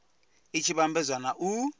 i tshi vhambedzwa na u